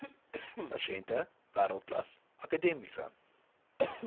pasiënte wêreldklas akademiese